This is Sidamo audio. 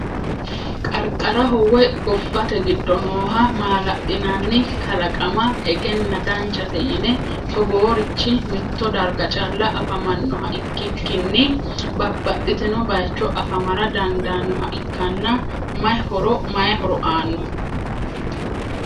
Qarqaraho woy gobbate giddo nooha maala’linanni kalaqama egenna danchate yine Togoorichi mitto darga calla afamannoha ikkikkinni babbaxxino baycho afamara dandaannoha ikkana mayi horo aano?